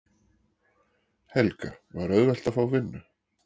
Helga: Var auðvelt að fá vinnu?